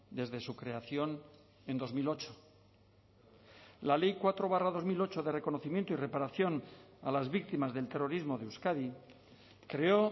desde su creación en dos mil ocho la ley cuatro barra dos mil ocho de reconocimiento y reparación a las víctimas del terrorismo de euskadi creó